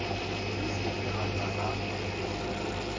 re se ra ka ra